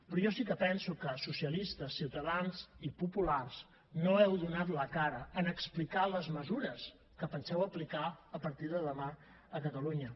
però jo sí que penso que socialistes ciutadans i populars no heu donat la cara en explicar les mesures que penseu aplicar a partir de demà a catalunya